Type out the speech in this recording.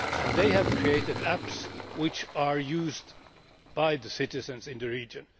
They have created apps which are used by the citizens in the region.